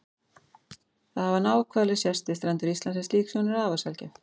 Þó hafa náhvalir sést við strendur Íslands en slík sjón er afar sjaldgæf.